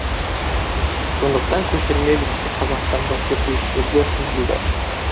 сондықтан көшірме үлгісі қазақстандық зерттеушілерге ұсынылды